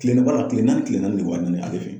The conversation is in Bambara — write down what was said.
Kileni baara kile naani kile naani de bɛ ka ɲini ale fɛ.